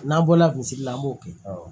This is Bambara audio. N'an bɔla kunsigi la an b'o kɛ